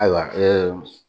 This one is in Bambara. Ayiwa